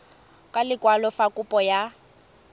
ka lekwalo fa kopo ya